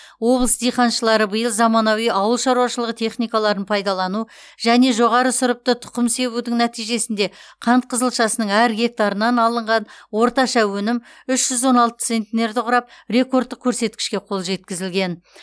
облыс диқаншылары биыл заманауи ауылшаруашылығы техникаларын пайдалану және жоғары сұрыпты тұқым себудің нәтижесінде қант қызылшасының әр гектарынан алынған орташа өнім үш жүз он алты центнерді құрап рекордтық көрсеткішке қол жеткізілген